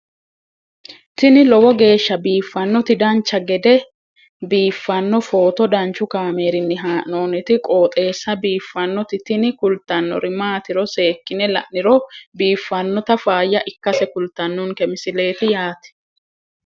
tini lowo geeshsha biiffannoti dancha gede biiffanno footo danchu kaameerinni haa'noonniti qooxeessa biiffannoti tini kultannori maatiro seekkine la'niro biiffannota faayya ikkase kultannoke misileeti yaate